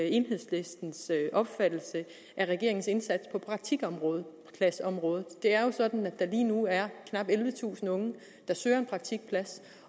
enhedslistens opfattelse af regeringens indsats på praktikpladsområdet det er jo sådan at der lige nu er knap ellevetusind unge der søger en praktikplads